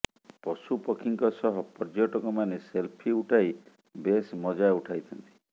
ପଶୁପକ୍ଷୀଙ୍କ ସହ ପର୍ଯ୍ୟଟକମାନେ ସେଲ୍ଫି ଉଠାଇ ବେଶ ମଜା ଉଠାଇଥାନ୍ତି